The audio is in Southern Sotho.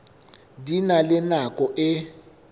di na le nako e